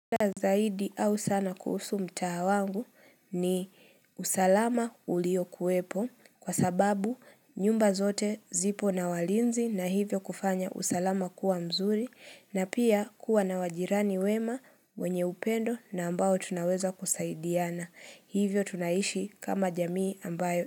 Shida zaidi au sana kuhusu mtaa wangu ni usalama ulio kuwepo kwa sababu nyumba zote zipo na walinzi na hivyo kufanya usalama kuwa mzuri na pia kuwa na wajirani wema wenye upendo na ambao tunaweza kusaidiana. Hivyo tunaishi kama jamii ambayo.